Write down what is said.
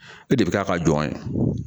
E de bɛ k'a ka jɔn ye